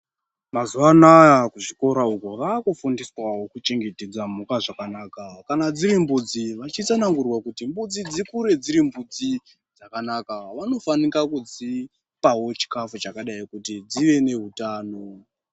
Mazuwa anaya kuzvikora uko vakufundiswawo kuchengetedza mhuka zvakanaka. Kana dziri mbudzi vachitsanangurwa kuti mbudzi dzikure dziri mbudzi dzakanaka vanofanika kudzipawo chikafu chakadai kuti dzive nehutano.